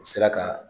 U sera ka